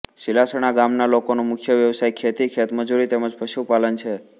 સીલાસણા ગામના લોકોનો મુખ્ય વ્યવસાય ખેતી ખેતમજૂરી તેમ જ પશુપાલન છે